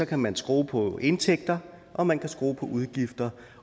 kan man skrue på indtægter og man kan skrue på udgifter